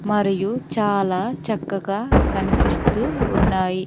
మరియు చాలా చక్కగా కనిపిస్తూ ఉన్నాయి.